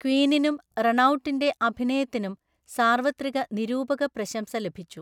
ക്വീനിനും, റണൌട്ടിന്‍റെ അഭിനയത്തിനും സാർവത്രിക നിരൂപക പ്രശംസ ലഭിച്ചു.